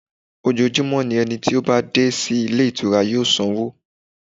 Ojoojúmọ́ ni ẹni tí ó bá dé sí ilé ìtura yóò sanwó.